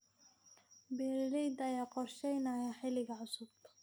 Beeralayda ayaa qorsheynaya xilliga cusub.